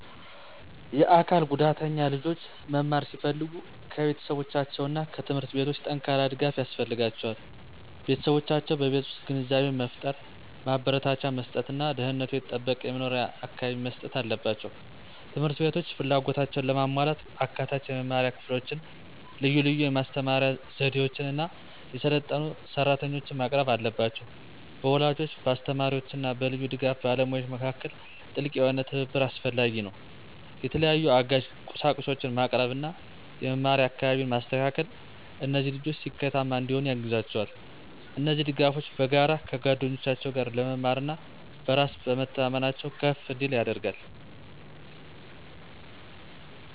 የአካል ጉዳተኛ ልጆች መማር ሲፈልጉ ከቤተሰቦቻቸው እና ከትምህርት ቤቶች ጠንካራ ድጋፍ ያስፈልጋቸዋል። ቤተሰቦቻቸው በቤት ውስጥ ግንዛቤን መፍጠር፣ ማበረታቻ መስጥት እና ደህንነቱ የተጠበቀ የመኖሪያ አካባቢን መስጠት አለባቸው። ት/ቤቶች ፍላጎታቸውን ለማሟላት አካታች የመማሪያ ክፍሎችን፣ ልዩ ልዩ የማስተማር ስነዘዴዎችን እና የሰለጠኑ ሰራተኞችን ማቅረብ አለባቸው። በወላጆች፣ በአስተማሪዎች እና በልዩ ድጋፍ ባለሙያዎች መካከል ጥልቅ የሆነ ትብብር አስፈላጊ ነው። የተለያዩ አጋዥ ቁሳቁሶችን ማቅረብ እና የመማሪያ አካባቢን ማስተካከል እነዚህ ልጆች ስኬታማ እንዲሆኑ ያግዛቸዋል። እነዚህ ድጋፎች በጋራ ከጓደኞቻቸው ጋር ለመማር እና በራስ በመተማመናቸው ከፍ እንዲል ያደርጋል።